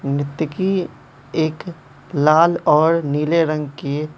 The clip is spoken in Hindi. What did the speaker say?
नृत्यकी एक लाल और नीले रंग के--